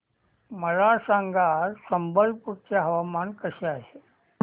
मला सांगा आज संबलपुर चे हवामान कसे आहे